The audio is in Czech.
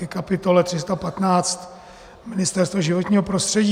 Ke kapitole 315 Ministerstvo životního prostředí.